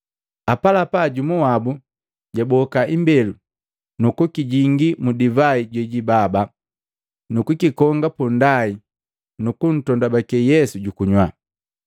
Apalapa jumu wabu jwaboka imbelu nukujuku kipongu, nukukijingi mu divai jejibaba nukukikonga punndai nukuntondabake Yesu jukunywa.